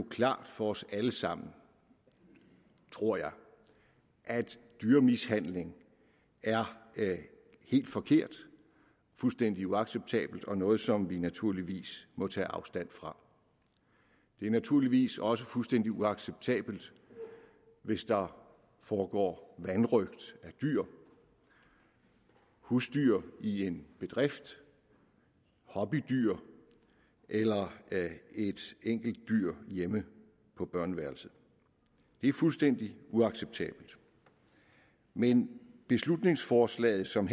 klart for os alle sammen tror jeg at dyremishandling er helt forkert fuldstændig uacceptabelt og noget som vi naturligvis må tage afstand fra det er naturligvis også fuldstændig uacceptabelt hvis der foregår vanrøgt af dyr husdyr i en bedrift hobbydyr eller et enkelt dyr hjemme på børneværelset det er fuldstændig uacceptabelt men beslutningsforslaget som